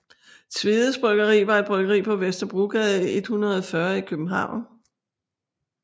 Tvedes Bryggeri var et bryggeri på Vesterbrogade 140 i København